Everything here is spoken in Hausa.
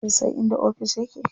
Kin san inda ofis ya ke?